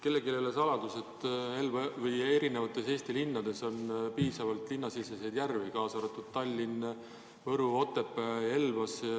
Kellelegi ei ole saladus, et Eesti linnades on piisavalt linnasiseseid järvi, kaasa arvatud Tallinn, Võru, Otepää, Elva.